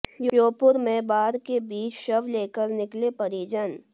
श्योपुर में बाढ़ के बीच शव लेकर निकले परिजन